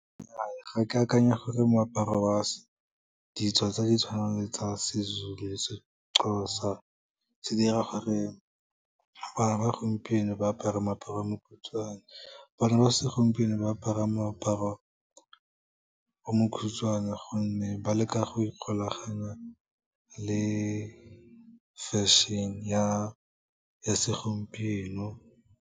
Nnyaa, ga ke akanya gore moaparo wa ditso tse di tshwanang le tsa seZulu, seXhosa se dira gore bana ba gompieno ba apare moaparo o mokhutswane. Bana ba segompieno ba apara moaparo o mokhutswane, gonne ba leka go ikgolaganya le fashion-e ya segompieno.